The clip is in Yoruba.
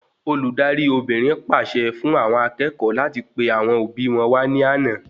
Olùdarí Obìnrin pàṣẹ fún àwọn akẹ́kọ̀ọ́ láti pe àwọn òbí wọn wà ní àna